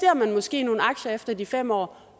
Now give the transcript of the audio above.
man måske i nogle aktier efter de fem år